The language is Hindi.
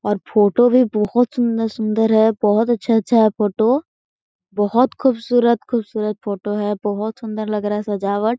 और फोटो भी बोहत सुन्दर सुन्दर है बोहो अच्छा-अच्छा है फोटो बोहत खुबसूरत खुबसूरत फोटो है बोहत सुन्दर लग रहा है सजावट--